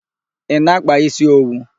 Ị na-akpa isi owu?